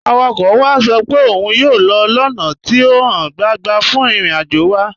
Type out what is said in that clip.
Awakọ̀ wa sọ pẹ̀ ọ́un yóò lọ ọ́na tí o háń gbàńgbà fún ìrìn-àjò wa.